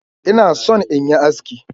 Inna son in yi aski.